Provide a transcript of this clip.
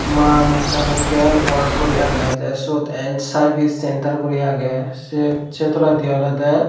maa mechanical work guri agey te sot and service centre guri agey se tolendi olode.